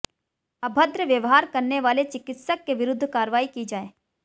अभद्र व्यवहार करने वाले चिकित्सक के विरुद्ध कार्रवाई की जाए